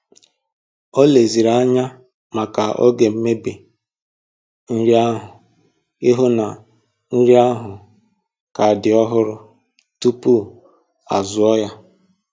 O leziri anya maka oge mmebi nri ahụ ịhụ na nri ahụ ka dị ọhụrụ tupu azụọ ya